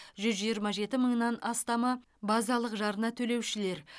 жүз жиырма жеті мыңнан астамы базалық жарна төлеушілер